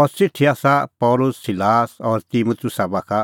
अह च़िठी आसा पल़सी सिलास और तिमुतुसा बाखा